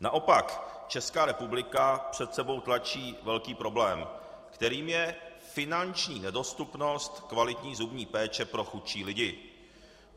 Naopak, Česká republika před sebou tlačí velký problém, kterým je finanční nedostupnost kvalitní zubní péče pro chudší lidi.